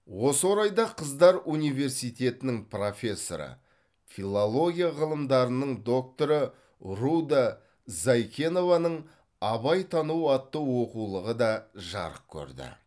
осы орайда қыздар университетінің профессоры филология ғылымдарының докторы руда зайкенованың абайтану атты оқулығы да жарық көрді